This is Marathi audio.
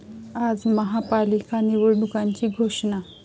आज महापालिका निवडणुकांची घोषणा